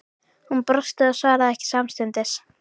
Hún brosti og svaraði ekki samstundis.